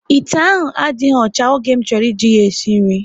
Ite ahụ adịghị ọcha, oge m chọrọ ị ji ya sie nri